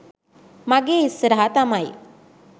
මගේ ඉස්සරහා තමයි